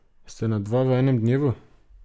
Ste na dva v enem dnevu?